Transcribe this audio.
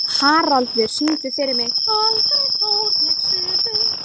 Haraldur, syngdu fyrir mig „Aldrei fór ég suður“.